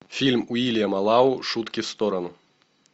фильм уильяма лау шутки в сторону